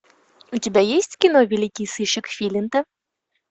у тебя есть кино великий сыщик филинта